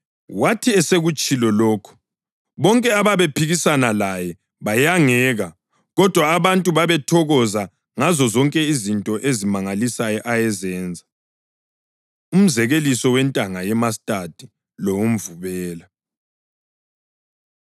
Wathi esekutshilo lokhu, bonke ababephikisana laye bayangeka, kodwa abantu babethokoza ngazozonke izinto ezimangalisayo ayezenza. Umzekeliso Wentanga Yemastadi Lowemvubelo